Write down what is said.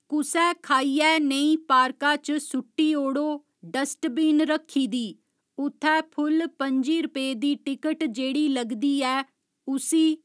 कुसै खाइइयै नेईं पार्का च सु'ट्टी ओड़ो डस्टबीन रक्खी दी, उत्थै फुल पं'जी रपे दी टिकट जेह्ड़ी लगदी ऐ उसी